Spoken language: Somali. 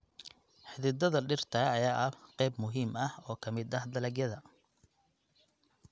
Xididdada dhirta ayaa ah qayb muhiim ah oo ka mid ah dalagyada.